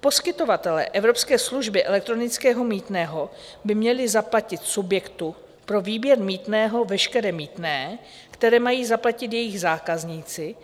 Poskytovatelé evropské služby elektronického mýtného by měli zaplatit subjektu pro výběr mýtného veškeré mýtné, které mají zaplatit jejich zákazníci,